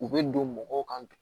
U bɛ don mɔgɔw kan